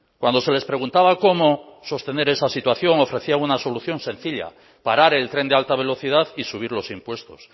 cuando se les preguntaba cómo sostener esa situación ofrecían una solución sencilla parar el tren de alta velocidad y subir los impuestos